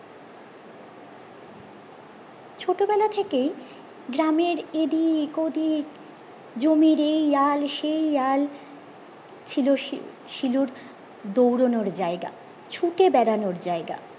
ছোটবেলা থেকেই গ্রামের এদিক ওদিক জমির এই আল সেই আল ছিল শিলুর দৌড়ানোর জায়গা ছুটে বেড়ানোর জায়গা